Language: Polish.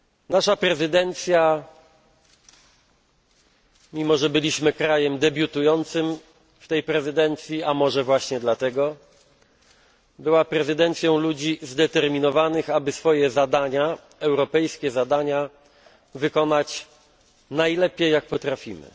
Nasza prezydencja mimo że byliśmy krajem debiutującym w tej prezydencji, a może właśnie dlatego była prezydencją ludzi zdeterminowanych, aby swoje europejskie zadania wykonać najlepiej, jak potrafimy.